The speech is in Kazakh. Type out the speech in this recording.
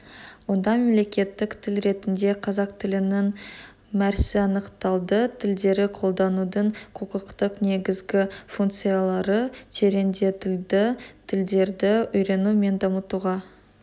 онда мемлекеттік тіл ретінде қазақ тілінің мәр сі анықталды тілдерді қолданудың құқықтық негізгі функциялары тереңдетілді тілдерді үйрену мен дамытуға